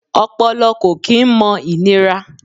Ọpọlọ kò kí n mọ ìnira